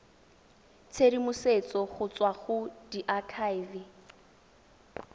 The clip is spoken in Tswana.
tshedimosetso go tswa go diakhaefe